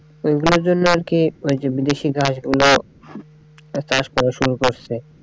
অইগুলার জন্যে আরকি ওইযে বিদেশি ঘাস গুলো চাষ করা শুরু করছে।